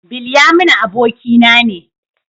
Bilyaminu abokina ne.